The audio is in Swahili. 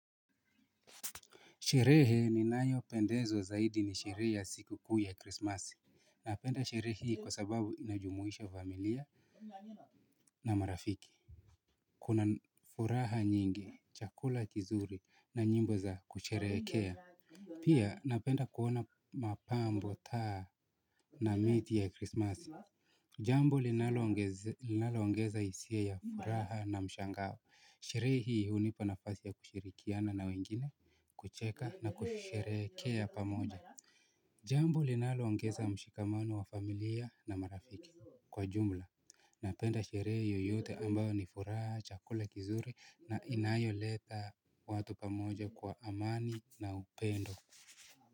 Sherehe ninayopendezwa zaidi ni sherehe ya sikukuu ya krismasi. Napenda sherehe hii kwa sababu inajumuisha familia na marafiki. Kuna furaha nyingi, chakula kizuri na nyimbo za kusherehekea. Pia napenda kuona mapambo taa na miti ya krismasi. Jambo linaloongeza hisia ya furaha na mshangao. Sherehe hii hunipa nafasi ya kushirikiana na wengine, kucheka na kusherehekea pamoja. Jambo linaloongeza mshikamano wa familia na marafiki kwa jumla. Napenda sherehe yoyote ambayo ni furaha, chakula kizuri na inayoleta watu pamoja kwa amani na upendo.